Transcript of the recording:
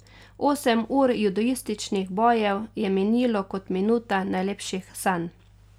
Osem ur judoističnih bojev je minilo kot minuta najlepših sanj.